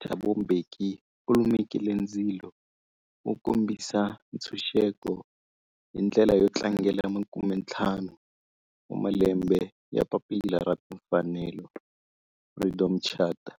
Thabo Mbeki u lumekile ndzilo wo kombisa ntshuxeko, hi ndlela yo tlangela makumentlhanu wa malembe ya papila ra timfanelo, Freedom Charter.